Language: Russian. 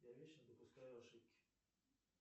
я вечно допускаю ошибки